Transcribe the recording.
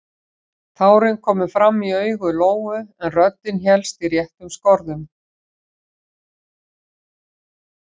Tárin komu fram í augu Lóu en röddin hélst í réttum skorðum.